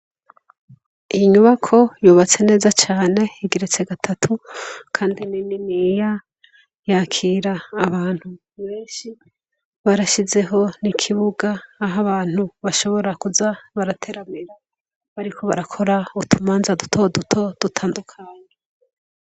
Iyi nyubako yubatse neza cane, igeretse gatatu kandi ni nini ya, yakira abantu benshi, barashizeho n'ikibuga aha abantu bashobora kuza barateramira bariko barakora utumanza dutoto dutandukanye.